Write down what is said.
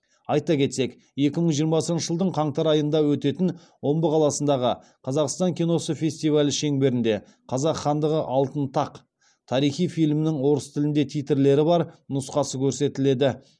айта кетсек екі мың жиырмасыншы жылдың қаңтар айында өтетін омбы қаласындағы қазақстан киносы фестивалі шеңберінде қазақ хандығы алтын тақ тарихи фильмінің орыс тілінде титрлері бар нұсқасы көрсетіледі